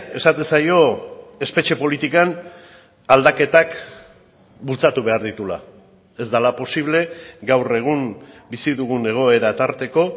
esaten zaio espetxe politikan aldaketak bultzatu behar dituela ez dela posible gaur egun bizi dugun egoera tarteko